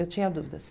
Eu tinha dúvidas.